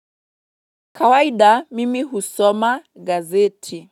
Kawaida mimi husoma gazeti.